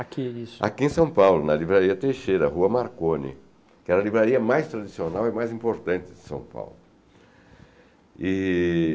Aqui isso, aqui em São Paulo, na Livraria Teixeira, Rua Marconi, que era a livraria mais tradicional e mais importante de São Paulo. E